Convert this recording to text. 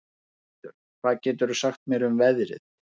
Arnhildur, hvað geturðu sagt mér um veðrið?